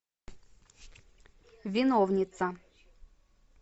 виновница